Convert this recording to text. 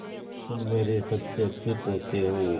तुम मेरे सबसे अच्छे पोते हो